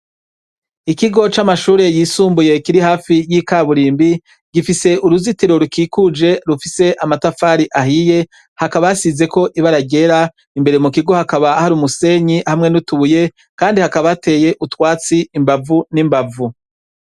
Ikigo c'amashure yisumbuye kiri hafi y’ikaburimbo, gifise uruzitiro rukikuje rufise amatafari ahiye, hakaba hasizeko ibara ryera, imbere mu kigo hakaba hari umusenyi hamwe n’utubuye, kandi hakaba hateye utwatsi imbavu n’imbavu.